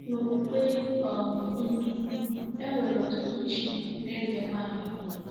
N’okpukpe um Hindu, e nwere ọtụtụ chi na ezenwaanyị.